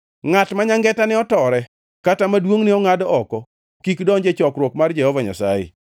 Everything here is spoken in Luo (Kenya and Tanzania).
Ngʼat ma nyangetane otore kata ma duongʼne ongʼad oko kik donj e chokruok mar Jehova Nyasaye.